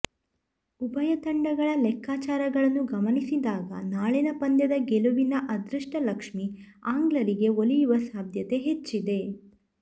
ಉಭಯ ತಂಡಗಳ ಲೆಕ್ಕಾಚಾರಗಳನ್ನು ಗಮನಿಸಿದಾಗ ನಾಳಿನ ಪಂದ್ಯದ ಗೆಲುವಿನ ಅದೃಷ್ಟ ಲಕ್ಷ್ಮಿ ಆಂಗ್ಲರಿಗೆ ಒಲಿಯುವ ಸಾಧ್ಯತೆ ಹೆಚ್ಚಿದೆ